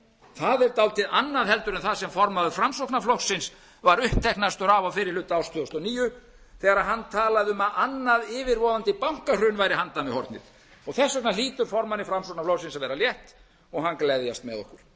það er dálítið annað heldur en það sem formaður framsóknarflokksins var uppteknastur af á fyrri hluta árs tvö þúsund og níu þegar hann talaði um að annað yfirvofandi bankahrun væri handan við hornið þess vegna hlýtur formanni framsóknarflokksins að vera létt og hann gleðjast með okkur